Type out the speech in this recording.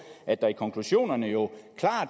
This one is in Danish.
at der i konklusionerne jo